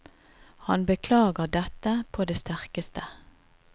Han beklager dette på det sterkeste.